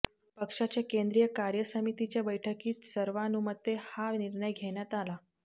पक्षाच्या केंद्रीय कार्यसमितीच्या बैठकीत सर्वानुमते हा निर्णय घेण्यात आला